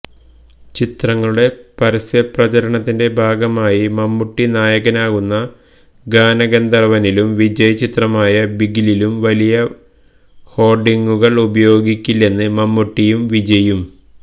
ചിത്രങ്ങളുടെ പരസ്യ പ്രചരണത്തിന്റെ ഭാഗമായി മമ്മൂട്ടി നായകനാകുന്ന ഗാനഗന്ധർവനിലും വിജയ് ചിത്രമായ ബിഗിലും വലിയ ഹോർഡിങ്ങുകൾ ഉപയോഗിക്കില്ലെന്ന് മമ്മൂട്ടിയും വിജയ്യും